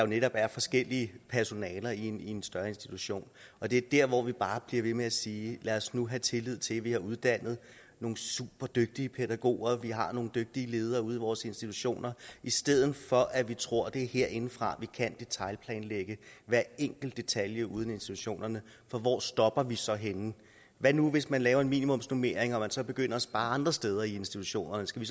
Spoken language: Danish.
netop er forskellige personaler i en en større institution og det er der hvor vi bare bliver ved med at sige lad os nu have tillid til at vi har uddannet nogle superdygtige pædagoger og at vi har nogle dygtige ledere ude i vores institutioner i stedet for at vi tror at det er herindefra vi kan detailplanlægge hver enkelt detalje ude i institutionerne for hvor stopper vi så henne hvad nu hvis man laver en minimumsnormering og man så begynder at spare andre steder i institutionerne skal